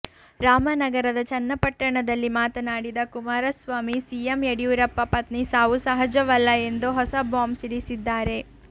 ರಾಮನಗರದ ಚನ್ನಪಟ್ಟಣದಲ್ಲಿ ಮಾತನಾಡಿದ ಕುಮಾರಸ್ವಾಮಿ ಸಿಎಂ ಯಡಿಯೂರಪ್ಪ ಪತ್ನಿ ಸಾವು ಸಹಜವಲ್ಲ ಎಂದು ಹೊಸ ಬಾಂಬ್ ಸಿಡಿಸಿದ್ದಾರೆ